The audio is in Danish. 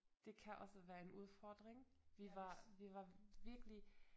Det kan også være en udfordring vi var vi var virkelig